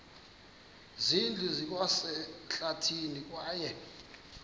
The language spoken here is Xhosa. zindlu zikwasehlathini kwaye